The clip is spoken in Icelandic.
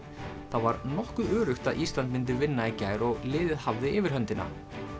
það var nokkuð öruggt að Ísland myndi vinna í gær og liðið hafði yfirhöndina